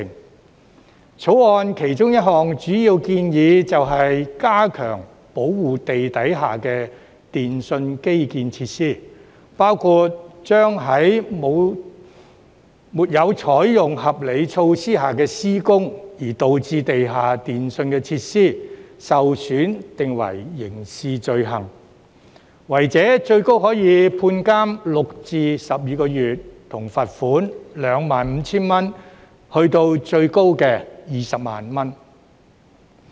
《條例草案》其中一項主要建議，便是加強保護地底下的電訊基建設施，包括將在沒有採取合理措施下施工而導致地下電訊設施受損定為刑事罪行，違者最高可判監6至12個月，以及罰款 25,000 元至最高的 200,000 元。